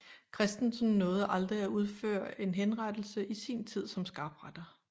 Christensen nåede aldrig at udføre en henrettelse i sin tid som skarpretter